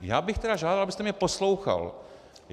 Já bych tedy žádal, abyste mě poslouchal.